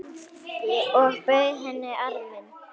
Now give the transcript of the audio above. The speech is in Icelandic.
Og bauð henni arminn.